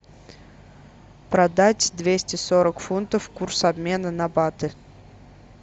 продать двести сорок фунтов курс обмена на баты